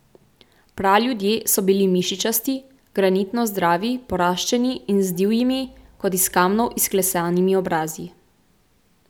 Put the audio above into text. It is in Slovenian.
Praljudje so bili mišičasti, granitno zdravi, poraščeni in z divjimi, kot iz kamnov izklesanimi obrazi.